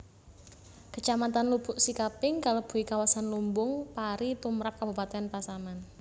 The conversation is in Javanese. Kecamatan Lubuk Sikaping kalebui kawasan lumbung pari tumrap kabupatèn Pasaman